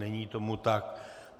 Není tomu tak.